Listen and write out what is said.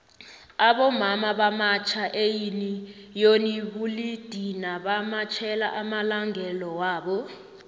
abomama bamatjha eyuniyoni bulidini bamatjhela amalangelowabo